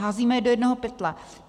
Házíme je do jednoho pytle.